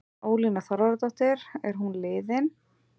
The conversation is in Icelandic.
Ólína Þorvarðardóttir: Er hún liðin?